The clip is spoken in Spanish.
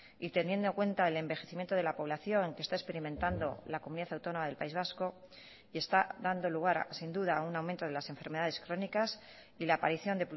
y teniendo en cuenta el envejecimiento de la población que está experimentando la comunidad autónoma del país vasco y está dando lugar sin duda a un aumento de las enfermedades crónicas y la aparición